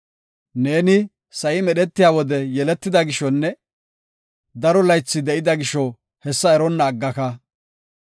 Neeni sa7i medhetiya wode yeletida gishonne daro laythi de7ida gisho hessa eronna aggaka!